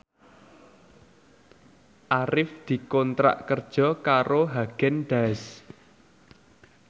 Arif dikontrak kerja karo Haagen Daazs